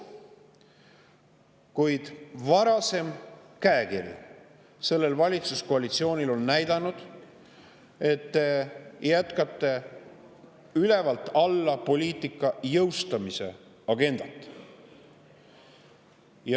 Kuid selle valitsuskoalitsiooni varasem käekiri näitab, et te jätkate poliitika ülevalt alla jõustamise agendat.